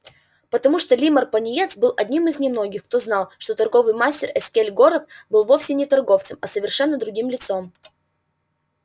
потому что лиммар пониетс был одним из немногих кто знал что торговый мастер эскель горов был вовсе не торговцем а совершенно другим лицом